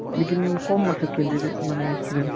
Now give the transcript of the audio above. এইকেইদিন কম আছে candidate মানে ই student